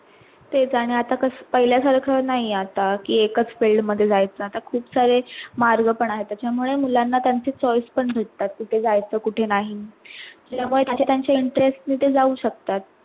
तेच, आणि आता कस पैले सारक नाहीये आता कि एकाच Field मध्ये जायच आता खूप सारे मार्ग पण आहेत त्याचा मुळे मुलांना त्यांच choice पण भेटतात कुठे जायचा कुठे नाही मझे त्यांचा interest मध्ये जाऊ शकतात.